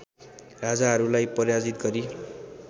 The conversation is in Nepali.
राजाहरूलाई पराजित गरी